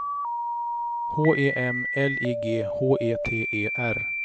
H E M L I G H E T E R